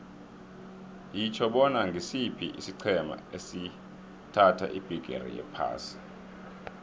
yitjho bona ngisiphi isiqhema esathatha ibhigiri yephasi